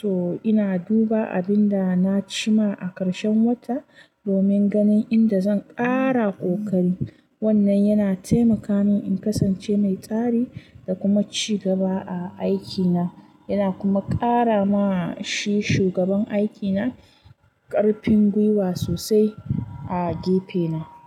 To ina duba abin da na ci ma a karshen wata domin ganin inda zan ƙara kokari. Wannan yana taimaka min in kasance mai tsari da kuma ci gaba a aikina, yana kuma ƙara ma shi shugaban aikina ƙarfin gwiwa sosai a gefena.